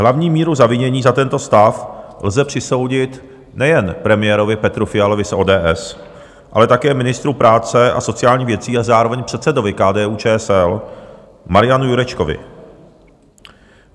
Hlavní míru zavinění za tento stav lze přisoudit nejen premiérovi Petru Fialovi z ODS, ale také ministru práce a sociálních věcí a zároveň předsedovi KDU-ČSL Marianu Jurečkovi.